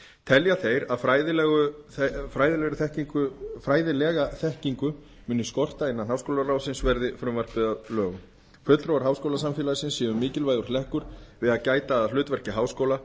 telja þeir að fræðilega þekkingu muni skorta innan háskólaráðsins verði frumvarpið að lögum fulltrúar háskólasamfélagsins séu mikilvægur hlekkur við að gæta að hlutverki háskóla